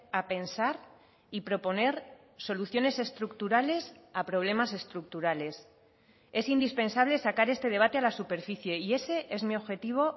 a pensar y proponer soluciones estructurales a problemas estructurales es indispensable sacar este debate a la superficie y ese es mi objetivo